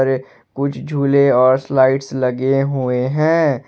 कुछ झूले और स्लाइड्स लगे हुए हैं।